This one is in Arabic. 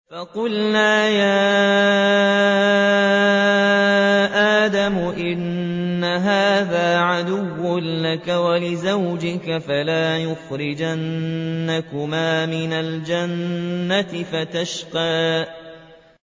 فَقُلْنَا يَا آدَمُ إِنَّ هَٰذَا عَدُوٌّ لَّكَ وَلِزَوْجِكَ فَلَا يُخْرِجَنَّكُمَا مِنَ الْجَنَّةِ فَتَشْقَىٰ